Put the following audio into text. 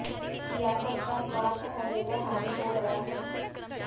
सियासत का स्वार्थ हर जगह हावी हो गया है